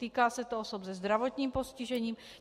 Týká se to osob se zdravotním postižením.